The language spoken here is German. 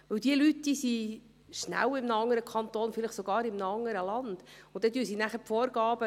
Denn diese Leute sind schnell in einem anderen Kanton, vielleicht sogar in einem anderen Land.